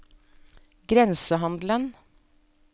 grensehandelen